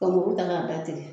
Ka muru ta k'a datigɛ